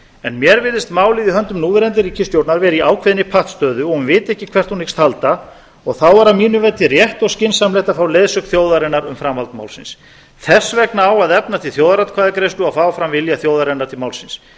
en mér virðist málið í höndum núverandi ríkisstjórnar vera í ákveðinni pattstöðu að hún viti ekki hvert hún hyggst halda og þá er að mínu viti rétt og skynsamlegt að fá leiðsögn þjóðarinnar um framhald málsins þess vegna á að efna til þjóðaratkvæðagreiðslu og fá fram vilja þjóðarinnar til málsins